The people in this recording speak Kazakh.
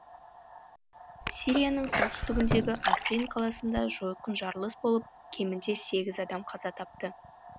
сирияның солтүстігіндегі африн қаласында жойқын жарылыс болып кемінде сегіз адам қаза тапты